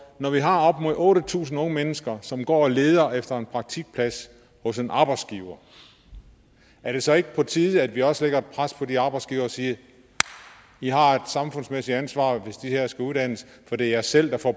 når vi har op mod otte tusind unge mennesker som går og leder efter en praktikplads hos en arbejdsgiver er det så ikke på tide at vi også lægger et pres på de arbejdsgivere og siger i har et samfundsmæssigt ansvar hvis de her skal uddannes for det er jer selv der får